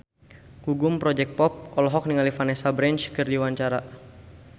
Gugum Project Pop olohok ningali Vanessa Branch keur diwawancara